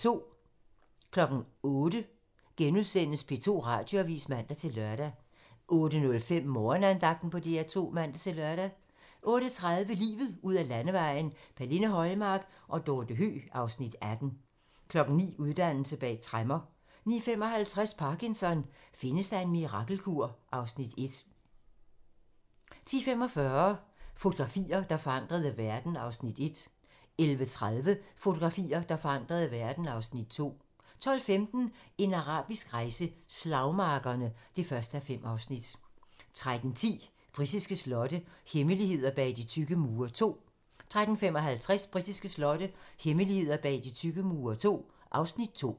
08:00: P2 Radioavis *(man-lør) 08:05: Morgenandagten på DR2 (man-lør) 08:30: Livet ud ad landevejen: Pernille Højmark og Dorte Høeg (Afs. 18) 09:00: Uddannelse bag tremmer 09:55: Parkinson: Findes der en mirakelkur? (Afs. 1) 10:45: Fotografier, der forandrede verden (Afs. 1) 11:30: Fotografier, der forandrede verden (Afs. 2) 12:15: En arabisk rejse: Slagmarkerne (1:5) 13:10: Britiske slotte - hemmeligheder bag de tykke mure II 13:55: Britiske slotte - hemmeligheder bag de tykke mure II (Afs. 2)